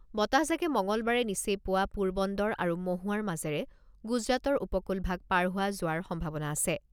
বতাহজাকে মঙলবাৰে নিচেই পুৱা পোৰবন্দৰ আৰু মহুৱাৰ মাজেৰে গুজৰাটৰ উপকূলভাগ পাৰ হোৱা যোৱাৰ সম্ভাৱনা আছে।